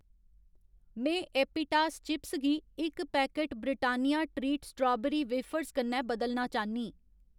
में एपिटास चिप्स गी इक packet Britannia treat strawberry wafers कन्नै बदलना चाह्न्नीं।